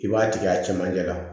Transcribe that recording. I b'a tigɛ a camancɛ la